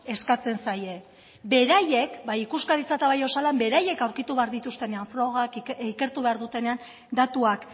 eskatzen zaie beraiek bai ikuskaritzak eta bai osalanek beraiek aurkitu behar dituztenean frogak ikertu behar dutenean datuak